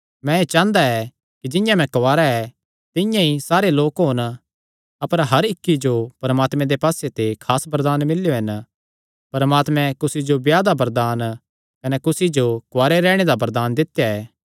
मैं एह़ चांह़दा ऐ कि जिंआं मैं कुआरा ऐ तिंआं ई सारे लोक होन अपर हर इक्की जो परमात्मे दे पास्से ते खास वरदान मिल्लेयो हन परमात्मे कुसी जो ब्याह दा वरदान कने कुसी जो कुआरे रैहणे दा वरदान दित्या ऐ